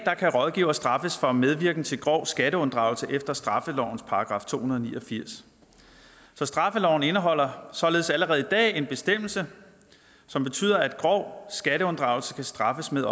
kan rådgivere straffes for medvirken til grov skatteunddragelse efter straffelovens § to hundrede og ni og firs så straffeloven indeholder således allerede i dag en bestemmelse som betyder at grov skatteunddragelse kan straffes med